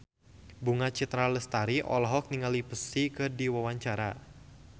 Bunga Citra Lestari olohok ningali Psy keur diwawancara